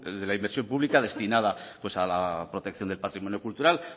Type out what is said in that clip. de la inversión pública destinada a la protección del patrimonio cultural